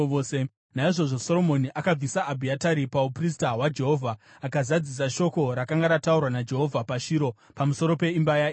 Naizvozvo Soromoni akabvisa Abhiatari pauprista hwaJehovha, akazadzisa shoko rakanga rataurwa naJehovha paShiro pamusoro peimba yaEri.